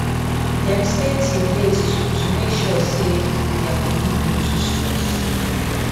dem stay till late to to make sure say their colleague no too stress